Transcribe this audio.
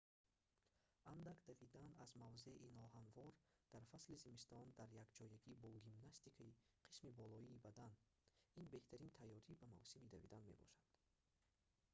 андак давидан аз мавзеи ноҳамвор дар фасли зимистон дар якҷоягӣ бо гимнастикаи қисми болоии бадан ин беҳтарин тайёрӣ ба мавсими давидан мебошанд